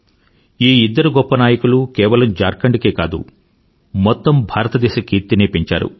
ఈ ఇద్దరు గొప్ప నాయకులూ కేవలం ఝార్ఖండ్ కే కాదు మెత్తం భారతదేశ కీర్తినే పెంచారు